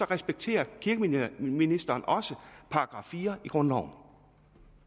respekterer kirkeministeren også § fire i grundloven